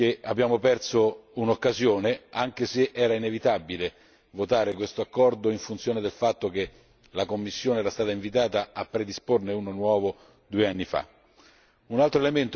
Credo che abbiamo perso un'occasione, anche se era inevitabile votare questo accordo in funzione del fatto che la Commissione era stata invitata a predisporne uno nuovo due anni fa.